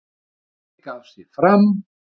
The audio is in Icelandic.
Vinningshafi gaf sig fram